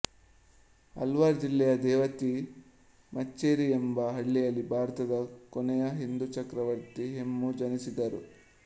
ಅಲ್ವಾರ್ ಜಿಲ್ಲೆಯ ದೇವತಿ ಮಚ್ಚೇರಿ ಎಂಬ ಹಳ್ಳಿಯಲ್ಲಿ ಭಾರತದ ಕೊನೆಯ ಹಿಂದು ಚಕ್ರವರ್ತಿ ಹೇಮು ಜನಿಸಿದರು